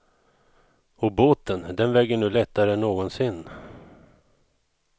Och båten, den väger nu lättare än någonsin.